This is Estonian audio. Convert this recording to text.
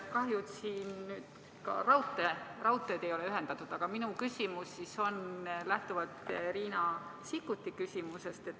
Kahjuks siia ka raudteed ei ole ühendatud, aga minu küsimus lähtub Riina Sikkuti küsimusest.